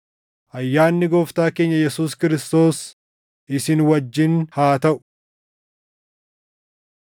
Ayyaanni Gooftaa keenya Yesuus Kiristoos isin wajjin haa taʼu.